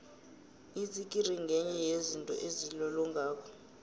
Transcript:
itsikiri ngenye yezinto ezilolongako